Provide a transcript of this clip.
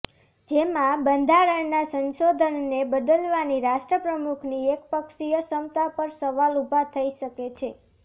જેમાં બંધારણના સંશોધનને બદલવાની રાષ્ટ્રપ્રમુખની એકપક્ષીય ક્ષમતા પર સવાલ ઉભા થઈ શકે છે